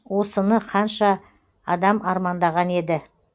осыны қанша адам армандаған еді